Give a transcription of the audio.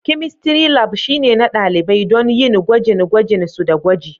Chemistry Lab shine na ɗalibai don yin gwajin gwajin su da gwaji